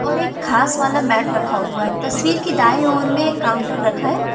और एक खास वाला मैट रखा हुआ है तस्वीर की दाएं ओर में काउंटर रखा है।